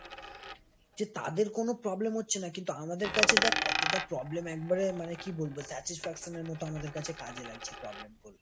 যে তাদের কোন problem হচ্ছে না। কিন্তু আমাদের কাছে দেখ কতটা problem একবারে মানে কি বলবো? satisfaction মতো আমাদের কাছে কাজে লাগছে প্রবলেমগুলো।